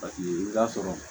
Paseke i b'a sɔrɔ